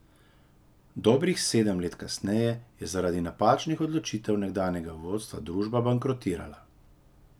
Dobrih sedem let kasneje je zaradi napačnih odločitev nekdanjega vodstva družba bankrotirala.